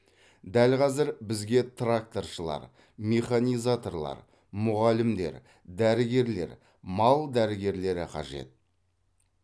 дәл қазір бізге тракторшылар механизаторлар мұғалімдер дәрігерлер мал дәрігерлері қажет